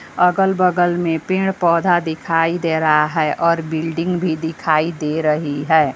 अगल बगल में पेड़ पौधा दिखाई दे रहा है और बिल्डिंग भी दिखाई दे रही है।